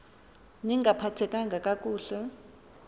ni ngaphathekanga kakuhle